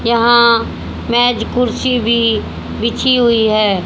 यहां मेज कुर्सी भी बिछी हुई है।